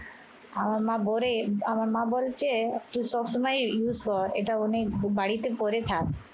আমার মা বলে আমার মা বলছে তুই সবসময় এটা use কর এটা অনেক বাড়িতে পরে থাক।